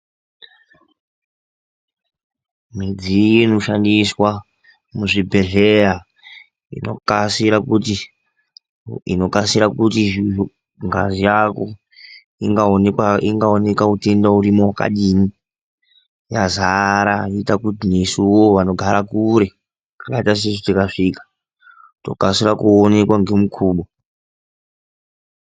Midziyo inoshandiswa muzvibhedhlera inoita kuti zvikasike kuti ngazi rako ingaonekwa kuti une utenda hwakadii yakazara zvekuti chero vandu vanogara kure nezvibhedhlera vanokasika kuonekwa ngenguva.